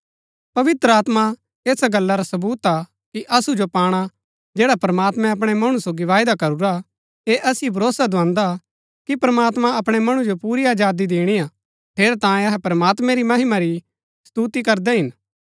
पवित्र आत्मा ऐसा गल्ला रा सवूत हा कि असु सो पाणा जैडा प्रमात्मैं अपणै मणु सोगी वायदा करूरा ऐह असिओ भरोसा दुआन्दा कि प्रमात्मां अपणै मणु जो पुरी आजादी दिणिआ ठेरैतांये अहै प्रमात्मैं री महिमा री स्तुति करदै हिन